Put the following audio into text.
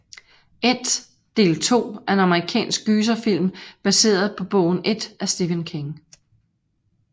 It del 2 er en amerikansk gyserfilm baseret på bogen It af Stephen King